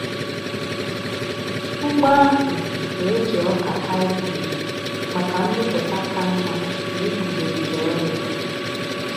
Ugbo ahụ na-eji ọka hybrid maka mmịpụta ka mma na iguzogide ọrịa.